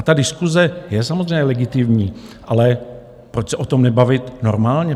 A ta diskuse je samozřejmě legitimní, ale proč se o tom nebavit normálně?